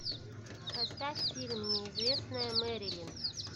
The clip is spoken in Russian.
поставь фильм неизвестная мэрилин